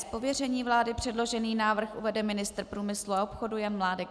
Z pověření vlády předložený návrh uvede ministr průmyslu a obchodu Jan Mládek.